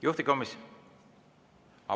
Juhtivkomisjon …